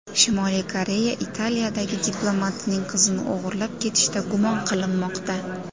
Shimoliy Koreya Italiyadagi diplomatining qizini o‘g‘irlab ketishda gumon qilinmoqda.